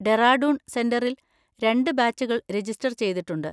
ഡെറാഡൂൺ സെന്‍ററിൽ രണ്ട് ബാച്ചുകൾ രജിസ്റ്റർ ചെയ്തിട്ടുണ്ട്.